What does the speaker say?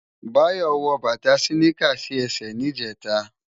Bayo wò bata siniká si èsè nijètá